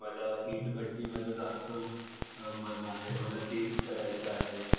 मला इटभट्टी मध्ये जास्त मन आहे मला तेच करायच आहे.